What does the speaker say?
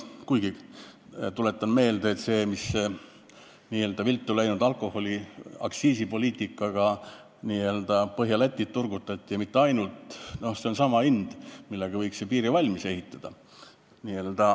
Kuigi, tuletan meelde, et see raha, millega n-ö viltu läinud aktsiisipoliitika tõttu turgutati Põhja-Lätit ja mitte ainult, on nii suur, et sellega võiks ju piiri valmis ehitada.